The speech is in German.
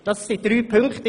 Dies sind drei Punkte.